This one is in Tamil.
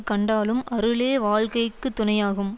கண்டாலும் அருளே வாழ்க்கைக்கு துணையாகும்